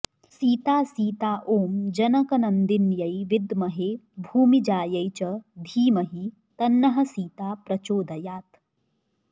सीता सीता ॐ जनकनन्दिन्यै विद्महे भूमिजायै च धीमहि तन्नः सीता प्रचोदयात्